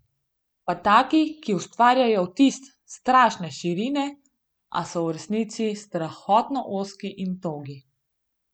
Pa taki, ki ustvarjajo vtis strašne širine, a so v resnici strahotno ozki in togi.